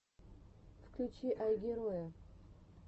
включи айгероя